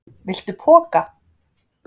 Viltu poka?